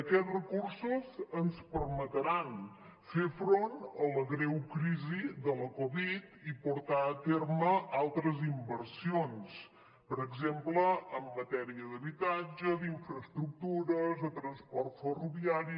aquests recursos ens permetran fer front a la greu crisi de la covid i portar a terme altres inversions per exemple en matèria d’habitatge d’infraestructures de transport ferroviari